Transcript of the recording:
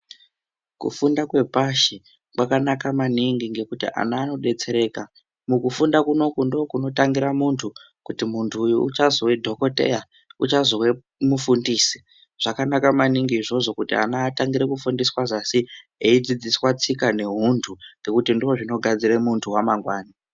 Kufunda kwepasi kwakanaka maningi nekuti ana anodetsereka. Mukufunda kunoku ndokunotangira muntu kuti muntu uyu uchazove dhokodheya uchazove mufundisi zvakanaka maningi izvozvo kuti ana atangire kufundiswa zasi eidzidziswa tsika nehuntu nekuti ndozvogadzira muntu wamangwani .